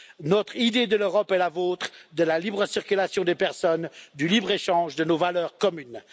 Notre idée de l'Europe est la vôtre la libre circulation des personnes, le libre échange, nos valeurs communes.